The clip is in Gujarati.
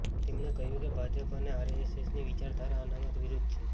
તેમણે કહ્યું કે ભાજપ અને આરએસએસની વિચારધારા અનામત વિરુદ્ધ છે